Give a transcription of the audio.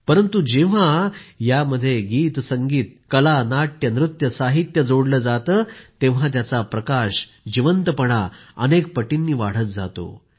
परंतु जेव्हा यात गीतसंगीत कला नाट्यनृत्य साहित्य जोडलं जातं तेव्हा त्याचा प्रकाश जिवंतपणा अनेक पटींनी वाढत जातो